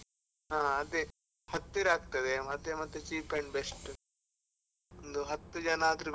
ಹಾ ಅದೇ, ಹತ್ತಿರ ಅಗ್ತದೆ ಮತ್ತೆ ಮತ್ತೆ cheap and best ಒಂದು ಹತ್ತು ಜನ ಆದ್ರು ಬೇಕು.